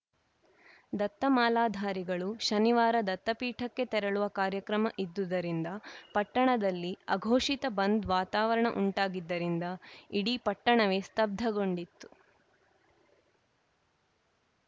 ದತ್ತ ಮಾಲಾಧಾರಿಗಳು ಶನಿವಾರ ದತ್ತಪೀಠಕ್ಕೆ ತೆರಳುವ ಕಾರ್ಯಕ್ರಮ ಇದ್ದುದರಿಂದ ಪಟ್ಟಣದಲ್ಲಿ ಅಘೋಷಿತ ಬಂದ್‌ ವಾತಾವರಣ ಉಂಟಾಗಿದ್ದರಿಂದ ಇಡೀ ಪಟ್ಟಣವೇ ಸ್ತಬ್ಧಗೊಂಡಿತ್ತು